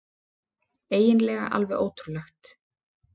Eiginlega alveg ótrúlegt.